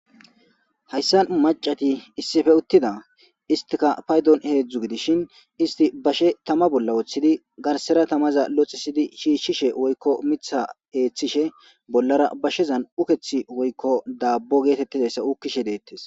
Hayssan macati issife uttida istika paydon heedzdzu gidishin isti bashe tama bolla wooththidi garsera tamaza loxxisidi shiishshishe woykko mitha eeththishe bollara bashezan ukethi woykko daabbo geetettidayssa ukkishe deettes.